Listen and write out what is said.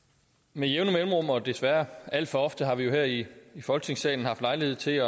med jævne mellemrum og desværre alt for ofte har vi jo her i folketingssalen haft lejlighed til